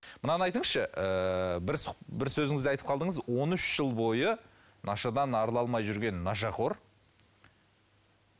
мынаны айтыңызшы ыыы бір бір сөзіңізде айтып қалдыңыз он үш жыл бойы нашадан арыла алмай жүрген нашақор